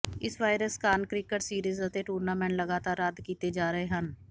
ਇਸ ਵਾਇਰਸ ਕਾਰਨ cricket series ਅਤੇ ਟੂਰਨਾਮੈਂਟ ਲਗਾਤਾਰ ਰੱਦ ਕੀਤੇ ਜਾ ਰਹੇ ਹਨ